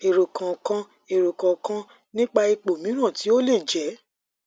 ero kan kan ero kan kan nipa ipo miran ti o le je